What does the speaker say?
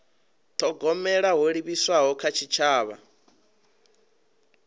thogomela ho livhiswaho kha tshitshavha